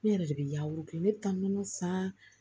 Ne yɛrɛ de bɛ yaw kile ne bɛ taa nɔnɔ san